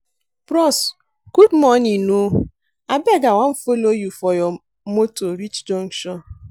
Bros good morning o, abeg I wan folo you for your motor reach junction.